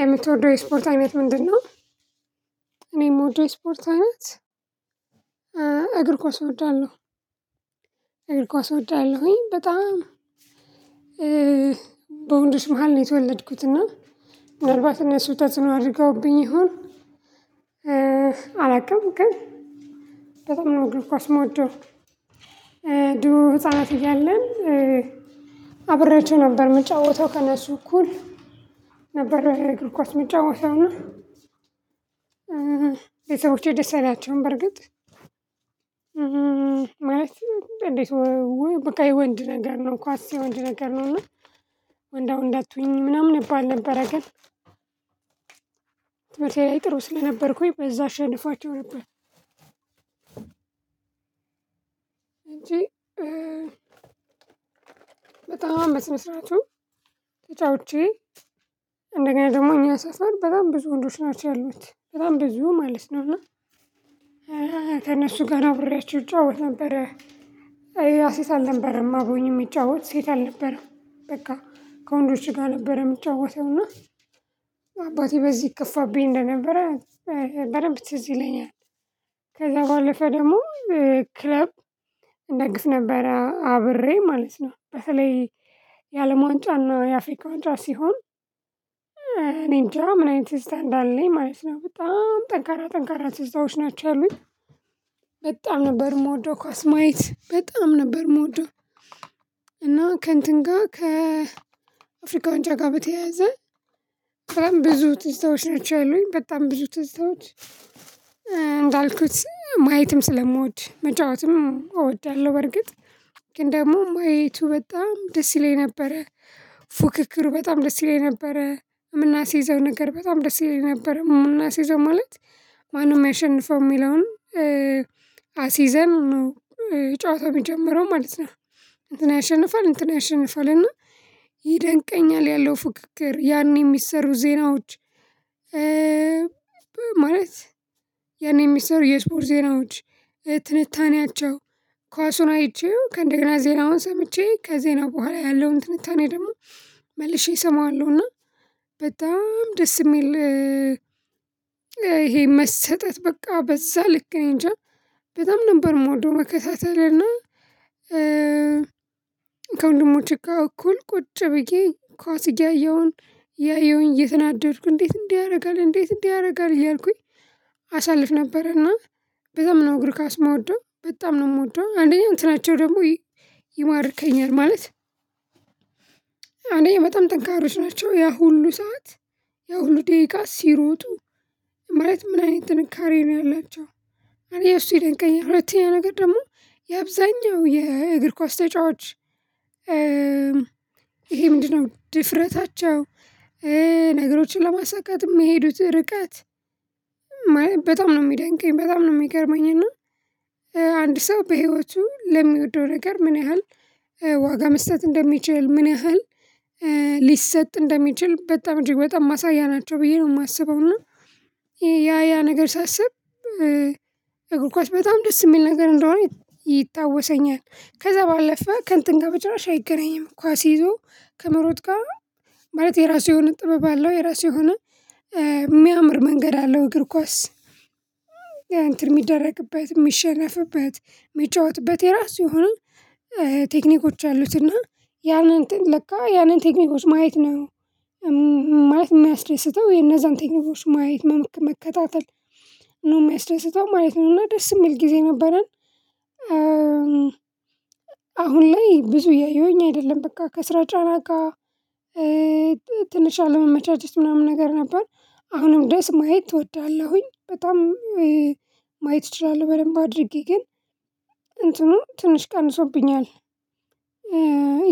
የምትወደው የስፖርት አይነት ምንድነው? እኔ የምወደው የስፖርት አይነት እግር ኳስ ወዳለሁ እግር ኳስ ወዳለሁኝ በጣም። በወንዶች መሃል ነው የተወለድኩት እና አርባት እና ስውጣት ነው አድርገውብኝ ይሆን። አላውቅም ግን በጣም ነው ግሩስ ሞዶ ድሮ ህፃናት እያለን አብረችው ነበር የምጫወተው ከእነሱ እኩል ነበር እግር ኳስ የምጫወተው ነው። ቤተሰቦቼ ደስ አይላቸውም በርግጥ እንዴት በቃ የወንድ ነገር ነው ኳስ የወንድ ነገር ነው እና ወንዳወንድ አትሆኚ ምናምን እባል ነበር ግን ትምህርቴ ላይ ጥሩ ስለነበርኩኝ በዛ አሸንፏቸው ነበር። በጣም በስነስራቱ ተጫውቼ እንደገና ደግሞ እኛ ሰፈር በጣም ብዙ ወንዶች ናቸው ያሉት በጣም ብዙ ማለት ነውና ከእነሱ ጋር አብሬያቸው እጫወት ነበረ። አይ አሌላ ሴት አልነበረም አብሮኝ የሚጫወት ሴት አልነበረም በቃ ከወንዶች ጋር ነበር የምትጫወተውና አባቴ በዚህ ይከፋብኝ እንደነበረ በደንብ ትዝ ይለኛል። ከዛ ባለፈ ደግሞ ክለብ እንደግፍ ነበር አብሬ ማለት ነው። በተለይ የአለም ዋንጫ እና የአፍሪካ ዋንጫ ሲሆን እኔ እንጃ ምን አይነት እንዳለኝ ማለት ነው በጣም ጠንካራ ጠንካራ ትዝታዎች ናቸው ያሉኝ። በጣም ነበር የምወደው ኳስ ማየት በጣም ነበር የምወደው። እና ከእንትን ጋር ከአፍሪካ ዋንጫ ጋር በተያያዘ በጣም ብዙ ትዝታዎች ናቸው ያሉኝ በጣም ብዙ ትዝታዎች። እንዳልኩት ማየትም ስለምወድ መጫወትም እወዳለሁ በርግጥ ግን ደግሞ ማየቱ በጣም ደስ ይለኝ ነበረ። ፉክክሩ በጣም ደስ ይለኝ ነበረ የምናስይዘው ነገር በጣም ደስ ይለኝ ነበር የምናስይዘው ማለት ማነው የሚያሸንፈው የሚለውን አስይዘን ጨዋታ የሚጀምረው ማለት ነው። እንትን ያሸንፋል እንትን ያሸንፋል እና ይደንቀኛል ያለው ፉክክር ያኔ የሚሰሩ ዜናዎች። ማለት ያኔ የሚሰሩ የስፖርት ዜናዎች ትንታኔያቸው ኳሱን አይቼው ከእንደገና ዜናውን ሰምቼ ከዜና በኋላ ያለውን ትንታኔ ደግሞ መልሼ እሰማዋለሁና በጣም ደስ የሚል። ይሄ መሰጠት በቃ በዛ ልክ ነኝ እንጃ በጣም ነበር ሞደው መከሳተልና ከወንድሞቼ ጋር እኩል ቁጭ ብዬ ኳስ እያየሁኝ ያየሁኝ እየተናደድኩ እንዴት እንዲህ ያደርጋል እንዴት እንዲህ ያደርጋል እያልኩኝ። ነበር እና በጣም ነው እግር ካስመወደው በጣም ነው የምወደው አንደኛው እንትናቸው ደግሞ ይማርከኛል ማለት። እኔ በጣም ጠንካራዎች ናቸው ያ ሁሉ ሰዓት ያ ሁሉ ደቂቃ ሲሮጡ ማለት ምን አይነት ጥንካሬ ነው ያላቸው አለ እሱ ይደንቀኛል። ሁለተኛ ነገር ደግሞ የአብዛኛው የእግር ኳስ ተጫዋች ይሄ ምንድነው ድፍረታቸው? ነገሮችን ለማሳካት የሚሄዱት ርቀት በጣም ነው የሚደንቀኝ በጣም ነው የሚገርመኝ እና አንድ ሰው በህይወቱ ለሚወደው ነገር ምን ያህል ዋጋ መስጠት እንደሚችል ምን ያህል ሊሰጥ እንደሚችል በጣም እጅግ በጣም ማሳያ ናቸው ብዬ ነው የማስበው። እና ያ ያ ነገር ሳስብ እግር ኳስ በጣም ደስ የሚል ነገር እንደሆነ ይታወሰኛል። ከዛ ባለፈ ከንትን ጋር በጭራሽ አይገናኝም ኳስ ይዞ ከመሮጥ ጋር ማለት የራሱ የሆነ ጥበብ አለው የራሱ የሆነ የሚያምር መንገድ አለው። እግር ኳስ እንትን የሚደረግበት የሚሸነፍበት የሚጫወትበት የራሱ ይሁን ቴክኒኮች አሉት እና ያንን ለካ ያንን ቴክኒኮች ማየት ነው ማለት የሚያስደስተው የነዛንቴክኒኮች ማየት መከታተል ነው የሚያስደስተው ማለት ነው። እና ደስ የሚል ጊዜ ነበረን። አሁን ላይ ብዙ እያየሁኝ አይደለም በቃ ከስራ ጫና ጋር ትንሽ አለመመቻት ውስጥ ምናምን ነገር ነበር አሁንም ድረስ ማየት እወዳለሁኝ በጣም። ማየት እችላለሁ በደንብ አድርጌ ግን እንትኑ ትንሽ ቀንሶብኛል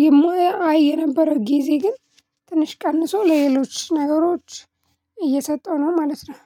የማያየው ነበር ጊዜ ግን ትንሽ ቀንሶ ለሌሎች ነገሮች እየሰጠው ነው ማለት ነው